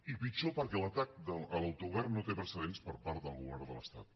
i pitjor perquè l’atac a l’autogovern no té precedents per part del govern de l’estat